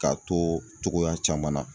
K'a to togoya caman na.